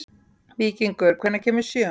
Víkingur, hvenær kemur sjöan?